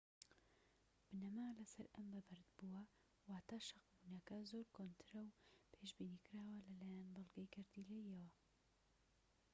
بنەما لەسەر ئەم بەبەردبووە واتە شەقبونەکە زۆر کۆنترە و پێشبینیکراوە لەلایەن بەڵگەی گەردیلەییەوە